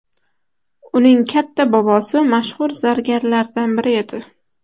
Uning katta bobosi mashhur zargarlardan biri edi.